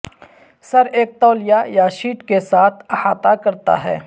سر ایک تولیہ یا شیٹ کے ساتھ احاطہ کرتا ہے